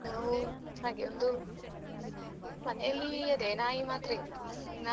ನಾವು ಹಾಗೆ ಒಂದು ಮನೆಯಲ್ಲಿ ಅದೇ ನಾಯಿ ಮಾತ್ರ ಇರೋದು .